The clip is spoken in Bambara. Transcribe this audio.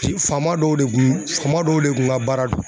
Bi faama dɔw de kun faama dɔw de kun ka baara don.